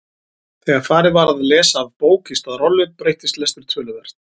Þegar farið var að lesa af bók í stað rollu breyttist lestur töluvert.